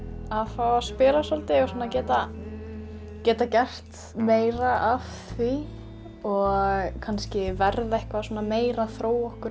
fá að spila svolítið og geta geta gert meira af því og kannski verða eitthvað meira þróa okkur